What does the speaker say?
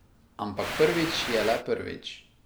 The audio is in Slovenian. Ampak prvič je le prvič.